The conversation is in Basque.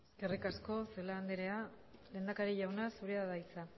eskerrik asko celaá andra lehendakari jauna zurea da hitza